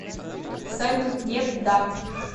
салют нет да